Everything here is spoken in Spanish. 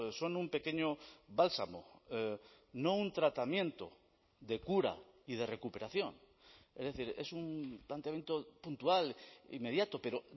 son un pequeño bálsamo no un tratamiento de cura y de recuperación es decir es un planteamiento puntual inmediato pero